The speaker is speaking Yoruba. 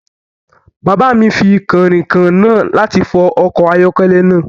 Bàbá mi fi kànrìnkàn náà láti fọ ọkọ̀ ayọ́kẹ́lẹ́ náà